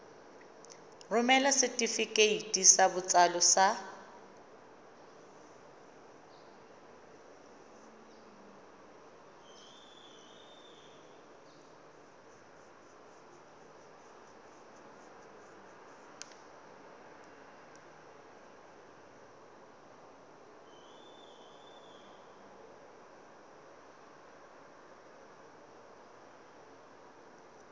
romela setefikeiti sa botsalo sa